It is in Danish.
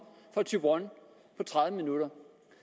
fra thyborøn på tredive minutter